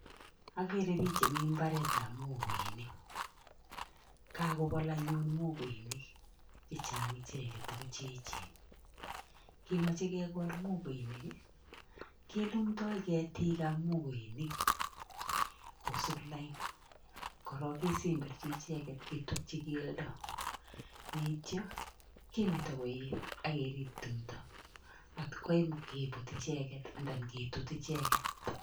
Ogeri pich chemi mbaret ap mokoinik kakopol anyun mokoinik chechang' icheget ako cheechen kemochei kekol mokoinik kelutoi ketik ab mokoinik kosup line korok kesemberchi ichek ketukchi keldo yeityo kemeti koet ak kerip tumdo atkoem keput icheget anan ketut icheget